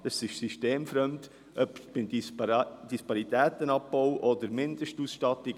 Es ist systemfremd, egal ob beim Disparitätenabbau oder bei der Mindestausstattung.